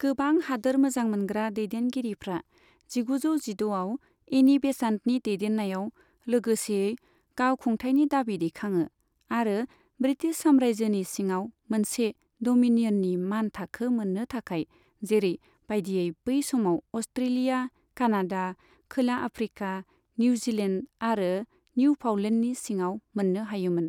गोबां हादोर मोजां मोनग्रा दैदेनगिरिफ्रा जिगुजौ जिद'आव एनि बेसान्टनि दैदेन्नायाव लोगोसेयै गाव खुंथायनि दाबि दैखाङो, आरो ब्रिटिश साम्रयजोनि सिङाव मोनसे द'मिनियननि मानथाखो मोन्नो थाखाय, जेरै बायदियै बै समाव अस्ट्रेलिया, कानादा, खोला आफ्रीका, निउजिलेन्द आरो निउफाउन्लेन्दनि सिङाव मोन्नो हायोमोन।